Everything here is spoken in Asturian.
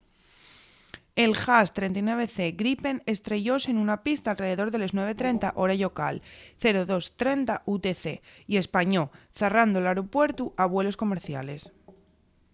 el jas 39c gripen estrellóse nuna pista alredor de les 9:30 hora llocal 0230 utc y españó zarrando l’aeropuertu a vuelos comerciales